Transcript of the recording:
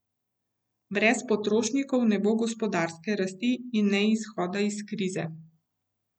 Brez potrošnikov ne bo gospodarske rasti in izhoda iz krize.